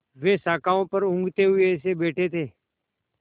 वे शाखाओं पर ऊँघते हुए से बैठे थे